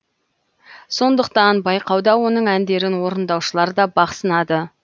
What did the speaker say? сондықтан байқауда оның әндерін орындаушылар да бақ сынады